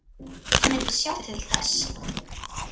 Hann myndi sjá til þess.